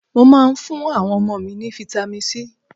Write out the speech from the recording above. Mo máa ń fún àwọn ọmọ mi ní Vitamin C.